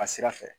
A sira fɛ